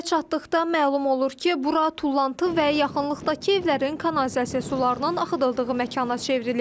Gölə çatdıqda məlum olur ki, bura tullantı və yaxınlıqdakı evlərin kanalizasiya sularının axıdıldığı məkana çevrilib.